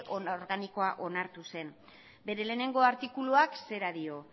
organikoa onartu zen bere lehenengo artikuluak zera dio